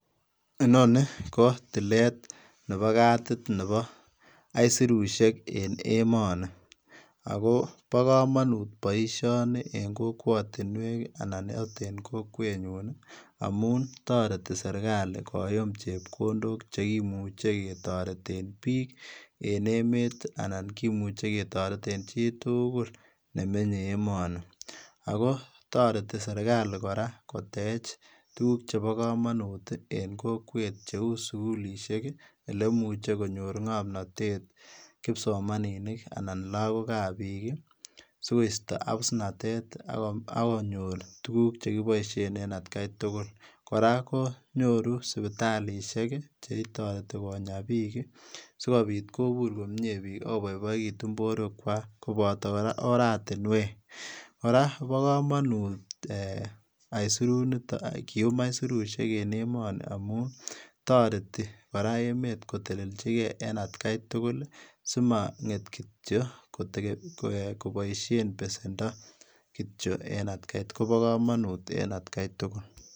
Inoni ko tileet nebo katit nebo aisirusiek en emanii ago bo kamanut boisioni en kokwatiinweek anan akoot en kokwet nyuun amuun taretii serikali koyuum chepkondook chekimuchei ketareteen biik en emeet anan kimuchei ketareteen chii tugul ne menyei emani ago taretii serikali kora koteech tuguuk chebo kamanut en kokwet cheuu sugulisheek ole imuche konyoor ngamnatet kipsomaninik anan lagook ab biik sigoistaa abusnatet ii agonyoor tuguuk che kibaisheen en at gai tugul kora kinyoruneen sipitalishek chetaretii konyaa biik ii sikobiit kobuur komyei biik ago baibaituun boruek kwaak kobotaa kora ortinweek kora Kobo kamanut aisirusiek kiyuum aisirusiek en emanii amuun taretii kora emeet koteleljigei amuun en at gai tugul simangeet kityoi kobaisheen besendo kityoi Kobo kamanut en at gai tugul.